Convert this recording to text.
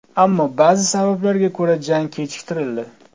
Ammo ba’zi sabablarga ko‘ra jang kechiktirildi.